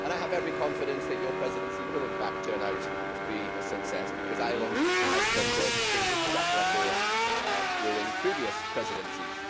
I have every confidence that your Presidency will in fact turn out to be a success because Ireland has such a distinguished track record during previous presidencies.